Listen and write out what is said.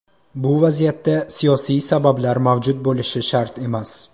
Bu vaziyatda siyosiy sabablar mavjud bo‘lishi shart emas.